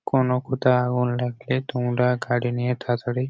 কোনো কোথা আগুন লাগলে তোমরা গাড়ি নিয়ে তাতাড়ি।